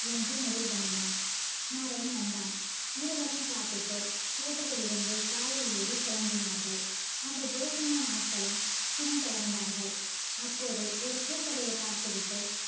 என்று முடிவு பண்ணினான் நரேன் வந்தான் இருவரும் சாப்பிட்டு hotel லில் இருந்து car லில் ஏறி கெளம்பினார்கள். அந்த ஜெய்சிங்கன் ஆட்களும் பின் தோன்றார்கள் அப்போது ஒரு பூ கடையை பார்த்து விட்டு